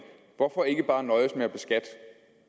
hvorfor ikke bare nøjes med at beskatte